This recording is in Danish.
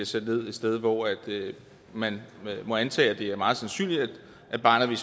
sendt ned et sted hvor man må antage at det er meget sandsynligt at barnet vil